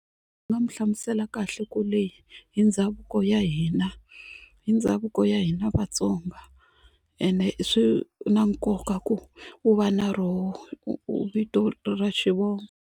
Ndzi nga mu hlamusela kahle ku hi ndhavuko ya hina hi ndhavuko ya hina Vatsonga ene swi na nkoka ku u va na roho vito ra xivongo.